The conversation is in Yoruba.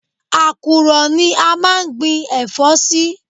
Àkùrọ̀ ni a máa ń gbi ẹ̀fọ́ sí